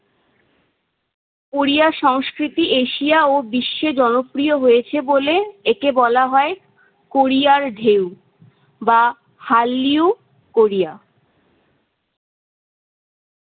Korea সংস্কৃতি Asia ও বিশ্বে জনপ্রিয় হয়েছে বলে একে বলা হয় কোরিয়ার ঢেউ বা হারলিউ কোরিয়া।